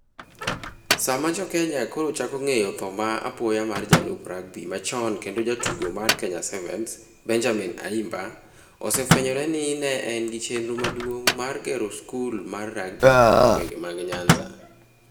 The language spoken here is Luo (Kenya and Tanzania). Sama Jo Kenya koro chako ng'eyo tho ma apoya mar jalup rugby machon kendo jatugo mar Kenya Sevens, Benjamin Ayimba, osefwenyore ni ne en gi chenro maduong' mar gero skul mar rugby e gwenge mag Nyanza.